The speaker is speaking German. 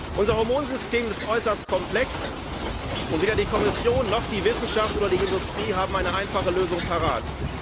Unser Hormonsystem ist äußerst komplex, und weder die Kommission noch die Wissenschaft oder die Industrie haben eine einfache Lösung parat.